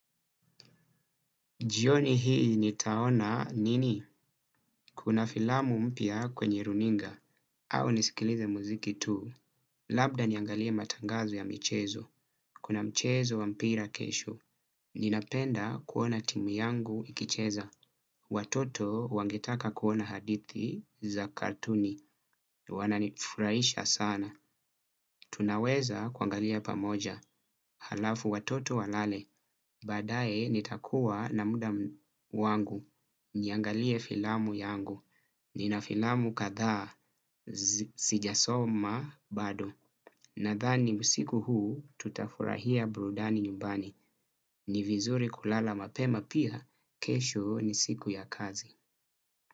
Jioni hii nitaona nini, kuna filamu mpya kwenye runinga, au nisikilize muziki tu. Labda niangalie matangazo ya michezo, kuna mchezo wa mpira kesho. Ninapenda kuona timu yangu ikicheza. Watoto wangetaka kuona hadithi za kartuni, wananifurahisha sana. Tunaweza kuangalia pamoja, halafu watoto walale. Baadae nitakuwa na mda wangu, niangalie filamu yangu, nina filamu kathaa, sijasoma bado, nadhani usiku huu tutafurahia burudani nyumbani, ni vizuri kulala mapema pia, kesho ni siku ya kazi.